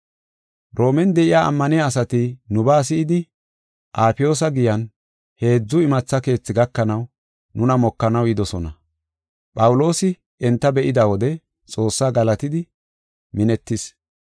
Roomen de7iya ammaniya asati nubaa si7idi, Afiyoosa Giyan, Heedzu Imatha Keethi gakanaw nuna mokanaw yidosona. Phawuloosi enta be7ida wode Xoossaa galatidi minetis.